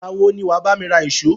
Ìgbà wo ni wà á bá mi ra ìṣó?